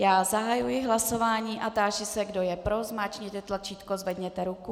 Já zahajuji hlasování a táži se, kdo je pro, zmáčkněte tlačítko, zvedněte ruku.